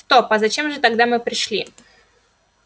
стоп а зачем же тогда мы пришли